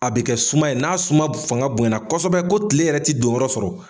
A bɛ kɛ suma ye, n'a su fanga bonɲana kosɛbɛ ko kile yɛrɛ tɛ donyɔrɔ sɔrɔ.